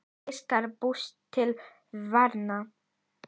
Ég skal búast til varnar.